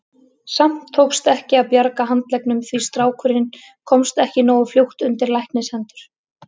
Samt tókst ekki að bjarga handleggnum því strákurinn komst ekki nógu fljótt undir læknishendur.